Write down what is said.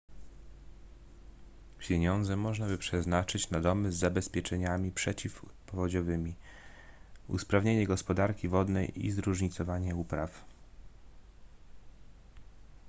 pieniądze można by przeznaczyć na domy z zabezpieczeniami przeciwpowodziowymi usprawnienie gospodarki wodnej i zróżnicowanie upraw